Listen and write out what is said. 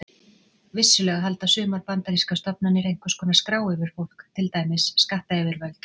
Vissulega halda sumar bandarískar stofnanir einhvers konar skrá yfir fólk, til dæmis skattayfirvöld.